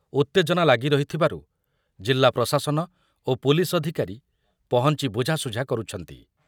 ଉତ୍ତେଜନା ଲାଗି ରହିଥିବାରୁ ଜିଲ୍ଲା ପ୍ରଶାସନ ଓ ପୁଲିସ୍ ଅଧିକାରୀ ପହଞ୍ଚି ବୁଝାଶୁଝା କରୁଛନ୍ତି ।